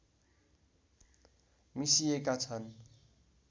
मिसिएका छन्